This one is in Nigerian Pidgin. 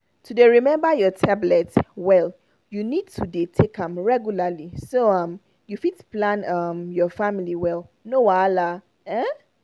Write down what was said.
to dey remember your tablet well you need to dey take am regularly so um you fit plan um your family well no wahala. um